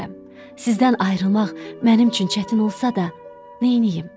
Sizdən ayrılmaq mənim üçün çətin olsa da, neyniyim?